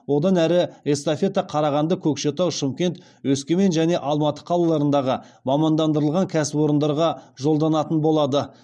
одан әрі эстафета қарағанды көкшетау шымкент өскемен және алматы қалаларындағы мамандандырылған кәсіпорындарға жолданатын болады